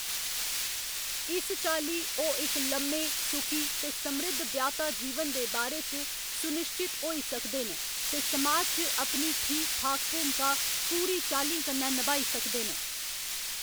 इस चाल्ली, ओह्‌‌ इक लम्मे, सुखी ते समृद्ध ब्याह्‌‌‌ता जीवन दे बारे च सुनिश्चत होई सकदे न ते समाज च अपनी ठीक ठाक भूमका पूरी चाल्लीं कन्नै नभाई सकदे न।